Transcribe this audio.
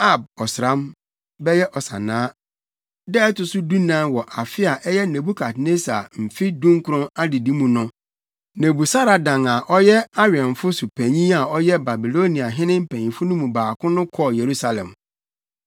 Ab ɔsram (bɛyɛ Ɔsannaa) da ɛto so dunan wɔ afe a ɛyɛ Nebukadnessar mfe dunkron adedi mu no, Nebusaradan a ɔyɛ awɛmfo so panyin a ɔyɛ Babiloniahene mpanyimfo no mu baako no kɔɔ Yerusalem.